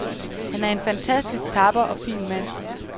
Han er en fantastisk tapper og fin mand.